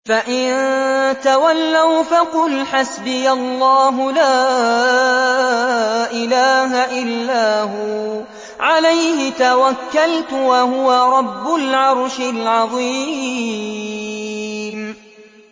فَإِن تَوَلَّوْا فَقُلْ حَسْبِيَ اللَّهُ لَا إِلَٰهَ إِلَّا هُوَ ۖ عَلَيْهِ تَوَكَّلْتُ ۖ وَهُوَ رَبُّ الْعَرْشِ الْعَظِيمِ